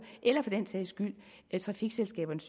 eller for den sags skyld trafikselskaberne